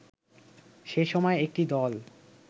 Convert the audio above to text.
সে সময় একটি দল